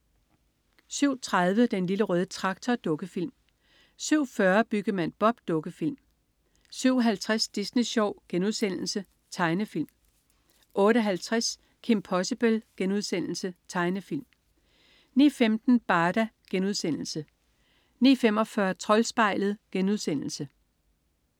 07.30 Den Lille Røde Traktor. Dukkefilm 07.40 Byggemand Bob. Dukkefilm 07.50 Disney Sjov.* Tegnefilm 08.50 Kim Possible.* Tegnefilm 09.15 Barda* 09.45 Troldspejlet*